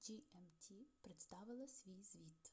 gmt представила свій звіт